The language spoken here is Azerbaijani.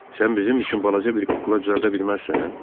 Sən bizim üçün balaca bir kukla düzəldə bilməzsən?